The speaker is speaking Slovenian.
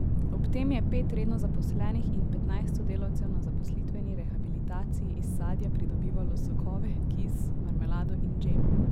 Ob tem je pet redno zaposlenih in petnajst sodelavcev na zaposlitveni rehabilitaciji iz sadja pridobivalo sokove, kis, marmelado in džem.